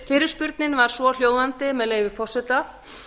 fyrirspurnin var svohljóðandi með leyfi forseta